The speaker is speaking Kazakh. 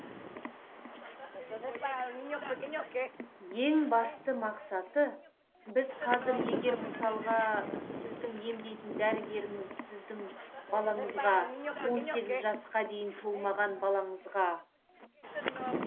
ең басты мақсаты біз қазір егер мысалға сіздің емдейтін дәрігеріңіз сіздің балаңызға он сегіз жасқа дейін толмаған балаңызға